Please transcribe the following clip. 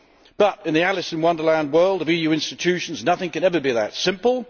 But in the Alice in Wonderland world of EU institutions, nothing can ever be that simple.